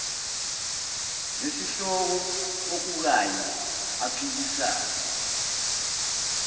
nesihloko okukanye aphikisane